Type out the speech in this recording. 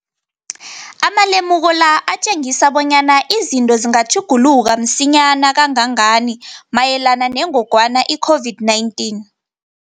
Amalemuko la atjengisa bonyana izinto zingatjhuguluka msinyana kangangani mayelana nengogwana i-COVID-19.